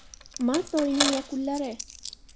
Mart oyining yakunlari.